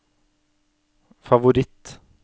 favoritt